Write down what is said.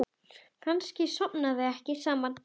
Kannski sofa þau ekkert saman?